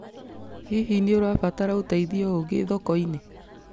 Hihi nĩ ũrabatara ũteithio ũngĩ thoko-inĩ?